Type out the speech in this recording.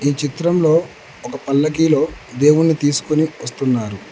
ఈ చిత్రంలో ఒక పల్లకిలో దేవుని తీసుకొని వస్తున్నారు.